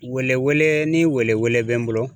Weeleweele ni weeleweele bɛ n bolo